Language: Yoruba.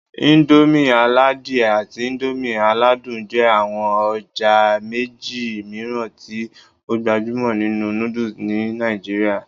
Indomie aladie àti Indomie aladun jẹ́ àwọn ọjà méjì mìíràn tí ó gbajúmọ̀ nínú noodles ní Nàìjíríà